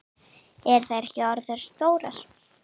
Eru þær ekki orðnar stórar?